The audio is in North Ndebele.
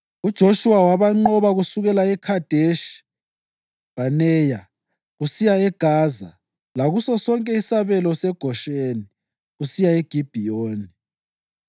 UJoshuwa wabanqoba kusukela eKhadeshi Bhaneya kusiya eGaza lakuso sonke isabelo seGosheni kusiya eGibhiyoni.